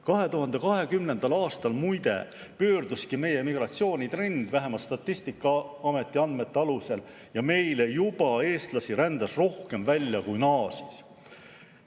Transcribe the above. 2020. aastal muide pöörduski meie migratsioonitrend – vähemalt Statistikaameti andmete alusel – ja eestlasi rändas rohkem välja kui naasis.